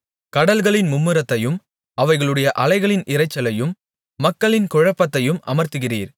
கடல்களின் மும்முரத்தையும் அவைகளுடைய அலைகளின் இரைச்சலையும் மக்களின் குழப்பத்தையும் அமர்த்துகிறீர்